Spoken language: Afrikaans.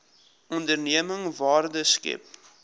onderneming waarde skep